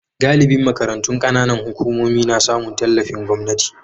Galibin makarantun kananan hukumomi na samun tallafin gwamnati.